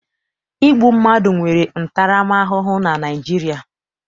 Igbu mmadụ nwere ntaramahụhụ na Naịjirịa.